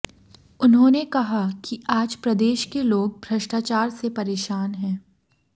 उन्होंने कहा कि आज प्रदेश के लोग भ्रष्टाचार से परेशान हैं